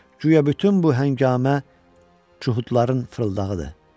Guya bütün bu həngamə yəhudların fırıldağıdır.